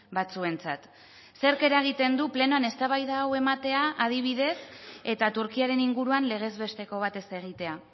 batzuentzat zerk eragiten du plenoan eztabaida hau ematea adibidez eta turkiaren inguruan legezbesteko bat ez egitea